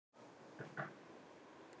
Dugir það að vonum illa til húshitunar.